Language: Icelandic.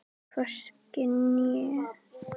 Hvorki ég né nokkur annar.